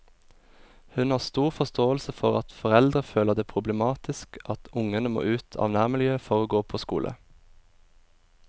Hun har stor forståelse for at foreldre føler det problematisk at ungene må ut av nærmiljøet for å gå på skole.